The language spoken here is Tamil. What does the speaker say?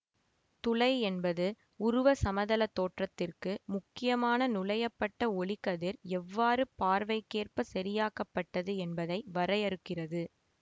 துளை என்பது உருவ சமதள தோற்றத்திற்கு முக்கியமான நுளையப்பட்ட ஒளிக்கதிர் எவ்வாறு பார்வைக்கேற்ப சரியாக்கப்பட்டது என்பதை வரையறுக்கிறது